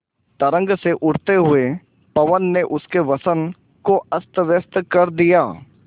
तरंग से उठते हुए पवन ने उनके वसन को अस्तव्यस्त कर दिया